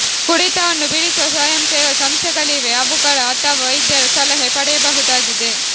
ಕುಡಿತವನ್ನು ಬಿಡಿಸುವ ಸ್ವಯಂ ಸೇವಾ ಸಂಸ್ಥೆಗಳಿವೆ ಅವುಗಳ ಅಥವಾ ವೈದ್ಯರ ಸಲಹೆ ಪಡೆಯಬಹುದಾಗಿದೆ